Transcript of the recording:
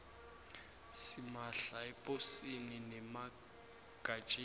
simahla eposini nemagatjeni